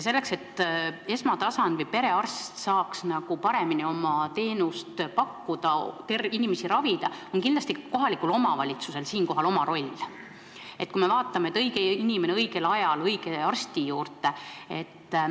Selleks, et esmatasandi perearst saaks paremini oma teenust pakkuda, inimesi ravida, on kohalikul omavalitsusel oma roll, kui me vaatame, et õige inimene saaks õigel ajal õige arsti juurde.